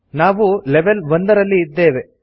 ನಾವು ಲೆವೆಲ್ 1 ರಲ್ಲಿ ಇದ್ದೇವೆ